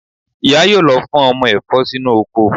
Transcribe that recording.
Ìyá yóò lọ fọ́n ọmọ ẹ̀fọ́ sínú oko